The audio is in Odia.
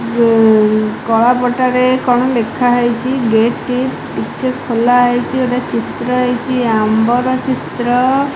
ଯେ ଏଇ କଳାପଟା ରେ କଣ ଲେଖା ହେଇଚି ଗେଟ ଟି ଟିକେ ଖୋଲା ହେଇଚି ଗୋଟେ ଚିତ୍ର ହେଇଚି ଆମ୍ବ ର ଚିତ୍ର।